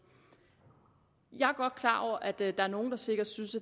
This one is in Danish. jeg er godt klar over at der er nogen der sikkert synes